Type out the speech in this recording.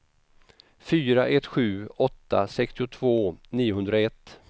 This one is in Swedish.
fyra ett sju åtta sextiotvå niohundraett